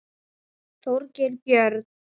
Þorgeir Björn.